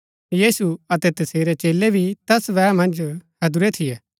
यीशु अतै तसेरै चेलै भी तैस बैह मन्ज हैदुरै थियै